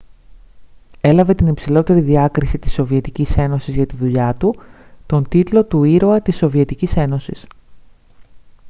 έλαβε την υψηλότερη διάκριση της σοβιετικής ένωσης για τη δουλειά του τον τίτλο του «ήρωα της σοβιετικής ένωσης»